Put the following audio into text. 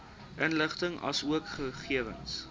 inligting asook gegewens